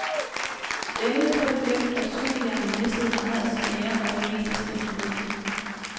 Enden på det blev, at superhjernen mistede meget af sin ære og det meste af sin indflydelse.